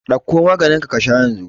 Ɗauko maganinka ka sha yanzu!